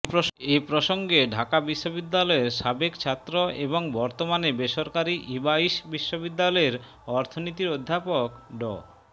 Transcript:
এ প্রসঙ্গে ঢাকা বিশ্ববিদ্যালয়ের সাবেক ছাত্র এবং বর্তমানে বেসরকারি ইবাইস বিশ্ববিদ্যালয়ের অর্থনীতির অধ্যাপক ড